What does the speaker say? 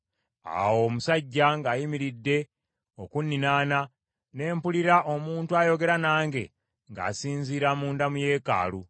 Awo omusajja ng’ayimiridde okunninaana, ne mpulira omuntu ayogera nange ng’asinziira munda mu yeekaalu;